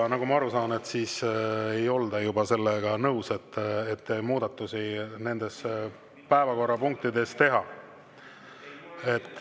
Aga nagu ma aru saan, sellega ei olda nõus, et muudatusi nendes päevakorrapunktides teha.